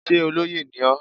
Sé olóyè ni ọ́?